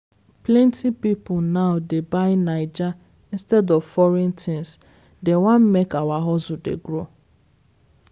plenty pipo now dey buy naija instead of foreign things, dem wan make our hustle dey grow.